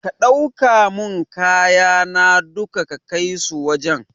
Ka ɗauka mun kayana duka ka kaisu wajan